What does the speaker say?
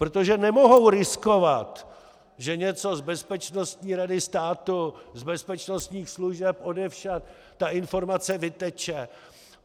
Protože nemohou riskovat, že něco z Bezpečnostní rady státu, z bezpečnostních služeb, odevšad ta informace vyteče.